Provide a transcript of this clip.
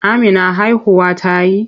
Amina haihuwa ta yi?